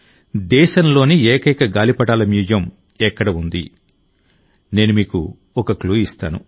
దేశంలోని ఏకైక గాలిపటాల మ్యూజియం ఎక్కడ ఉంది నేను మీకు ఒక క్లూ ఇస్తాను